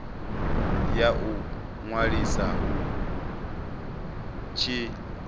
ya u ṅwaliswa hu tshi